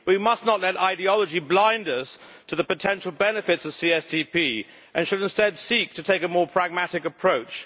We must not let ideology blind us to the potential benefits of the CSDP and should instead seek to take a more pragmatic approach.